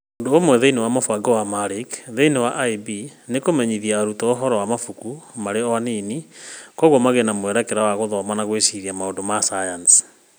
Ũndũ ũmwe thĩ-inĩ wa mũbango wa marquee thĩinĩ wa ĩB nĩ kũmenyithia arutwo ũhoro wa mabuku marĩ o anini, na kwoguo magĩe na mwerekera wa gũthoma na gwĩciria maũndũ ma sayansi.